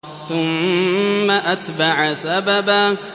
ثُمَّ أَتْبَعَ سَبَبًا